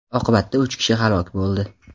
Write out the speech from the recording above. Oqibatda uch kishi halok bo‘ldi.